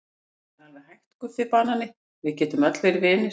Það er alveg hægt Guffi banani, við getum öll verið vinir.